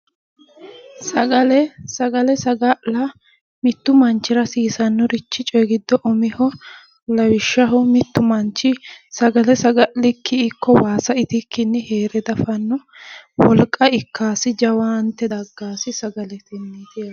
Sagale sagale saga'la mittu mittu manvhira hasiisannorichi coyi giddo umiho lawishshaho mittu manchi sagalesaga'likkii ikko waasa itikkii heere dafanno wolqa ikkaasi jawaante daggaasi sagale itiro